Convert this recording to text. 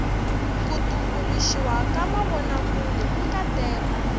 ku tumbuluxiwa ka mavonakule i nkateko